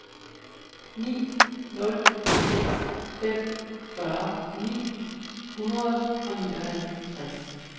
ni nul seks fem fyrre ni hundrede og nioghalvtreds